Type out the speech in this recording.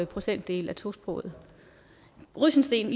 procentdel af tosprogede rysensteen